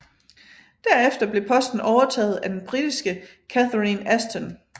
Derefter blev posten overtaget af den britiske Catherine Ashton